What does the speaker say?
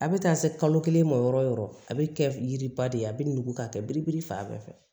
A bɛ taa se kalo kelen ma yɔrɔ o yɔrɔ a bɛ kɛ yiriba de ye a bɛ nugu k'a kɛ birikibiri fan bɛɛ fɛ